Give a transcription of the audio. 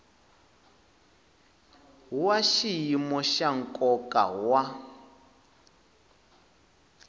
wa xiyimo xa nkoka wa